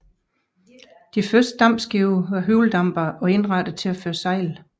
De første dampskibe var alle hjuldampere og indrettede til at føre sejl